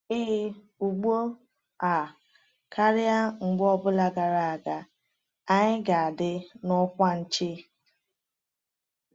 “Ee, ugbu a karịa mgbe ọ bụla gara aga, anyị ga-adị n’ọkwa nche!”